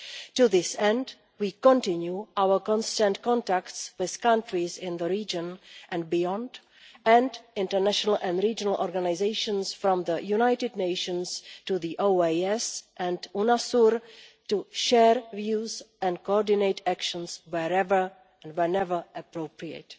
To this end, we continue our constant contacts with countries in the region and beyond, and with international and regional organisations from the United Nations to the OAS and UNASUR, to share views and coordinate actions wherever and whenever appropriate.